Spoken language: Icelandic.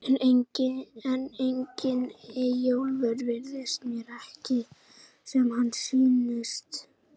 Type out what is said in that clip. En einnig Eyjólfur virðist mér ekki sem hann sýnist.